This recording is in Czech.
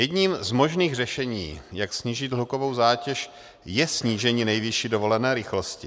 Jedním z možných řešení, jak snížit hlukovou zátěž, je snížení nejvyšší dovolené rychlosti.